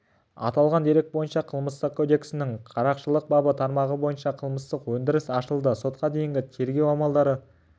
аталған дерек бойынша қылмыстық кодексінің қарақшылық бабы тармағы бойынша қылмыстық өндіріс ашылды сотқа дейінгі тергеу амалдары